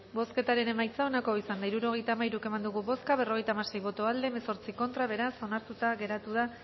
bozketaren emaitza onako izan da hirurogeita hamalau eman dugu bozka berrogeita hamasei boto aldekoa dieciocho contra beraz onartuta geratu da